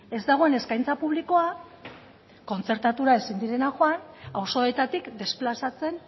ez dagoen eskaintza publikoa kontzertatuta ezin direnak joan auzoetatik desplazatzen